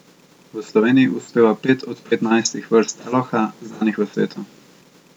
V Sloveniji uspeva pet od petnajstih vrst teloha, znanih v svetu.